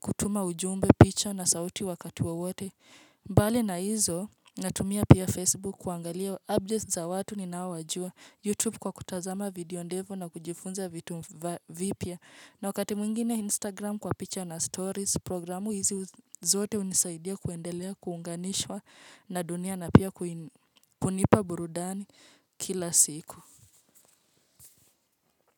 kutuma ujumbe, picha na sauti wakati wote. Mbali na hizo natumia pia Facebook kuangalia updates za watu ni nawajua, YouTube kwa kutazama video ndefu na kujifunza vitu vipya. Na wakati mwingine Instagram kwa picture na stories programu hizi zote unisaidia kuendelea kuunganishwa na dunia na pia kunipa burudani kila siku.